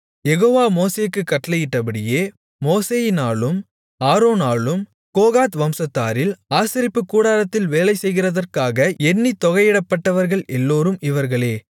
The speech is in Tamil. யெகோவா மோசேக்குக் கட்டளையிட்டபடியே மோசேயினாலும் ஆரோனாலும் கோகாத் வம்சத்தாரில் ஆசரிப்புக் கூடாரத்தில் வேலை செய்கிறதற்காக எண்ணித் தொகையிடப்பட்டவர்கள் எல்லோரும் இவர்களே